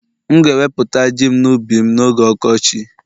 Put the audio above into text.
M'gēweputa Ji'm n'ubi m n'oge ọkọchị